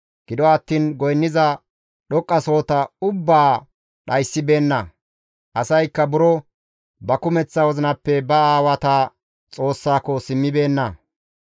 Gido attiin goynniza dhoqqasohota ubbaa dhayssibeenna; asaykka buro ba kumeththa wozinappe ba aawata Xoossaako simmibeenna.